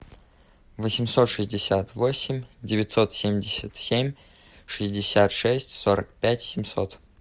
восемьсот шестьдесят восемь девятьсот семьдесят семь шестьдесят шесть сорок пять семьсот